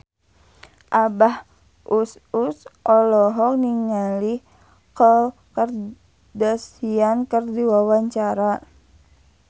Abah Us Us olohok ningali Khloe Kardashian keur diwawancara